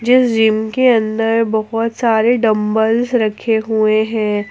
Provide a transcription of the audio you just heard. इस जिम के अंदर बहोत सारे डंबल्स रखे हुए हैं।